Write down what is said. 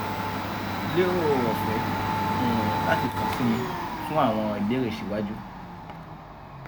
lero ọfẹ um lati kan si mi fun awọn ibeere siwaju